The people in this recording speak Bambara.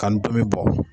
Ka n tomi bɔ